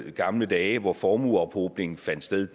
i gamle dage hvor formueophobningen fandt sted